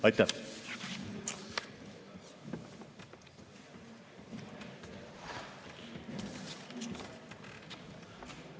Aitäh!